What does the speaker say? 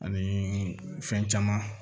Ani fɛn caman